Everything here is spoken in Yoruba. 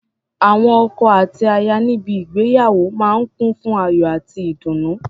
Awọn ọkọ àti aya níbi ígbéyàwó máa ń kùn fún ayò àti ìdùnnú.